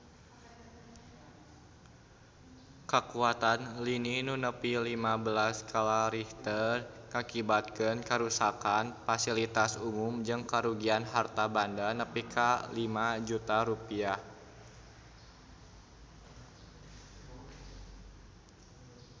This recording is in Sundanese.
Kakuatan lini nu nepi lima belas skala Richter ngakibatkeun karuksakan pasilitas umum jeung karugian harta banda nepi ka 5 juta rupiah